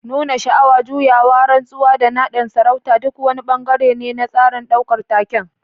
Nuna sha'awa, juyawa, rantsuwa, da nadin sarauta duk wani bangare ne na tsarin daukar taken.